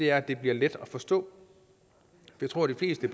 er at det bliver let at forstå jeg tror de fleste